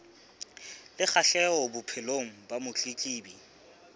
le kgahleho bophelong ba motletlebi